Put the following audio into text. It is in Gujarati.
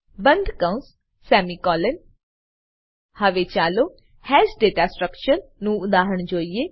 બંદકૌંસ સેમિકોલોન હવે ચાલો હાશ દાતા સ્ટ્રકચર નું ઉદાહરણ જોઈએ